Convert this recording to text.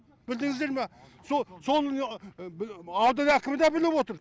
білдіңіздер ма со сол күйі аудан әкімі дә біліп отыр